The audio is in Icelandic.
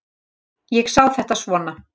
Ég sé þetta svona.